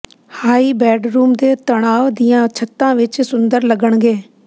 high bedroom ਦੇ ਤਣਾਅ ਦੀਆਂ ਛੱਤਾਂ ਵਿੱਚ ਸੁੰਦਰ ਲੱਗਣਗੇ